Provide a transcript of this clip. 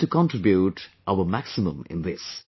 We have to contribute our maximum in this